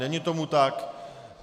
Není tomu tak.